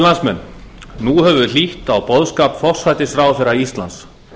nú höfum við hlýtt á boðskap forsætisráðherra íslands